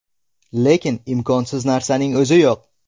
Lekin imkonsiz narsaning o‘zi yo‘q.